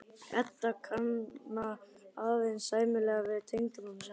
Edda kann aðeins sæmilega við tengdamömmu sína.